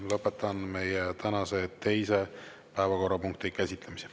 Lõpetan tänase teise päevakorrapunkti käsitlemise.